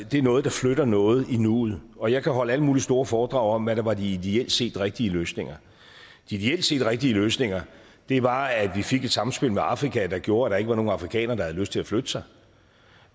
det er noget der flytter noget i nuet og jeg kan holde alle mulige store foredrag om hvad der var de ideelt set rigtige løsninger de ideelt set rigtige løsninger var at vi fik et samspil med afrika der gjorde at der ikke var nogen afrikanere der havde lyst til at flytte sig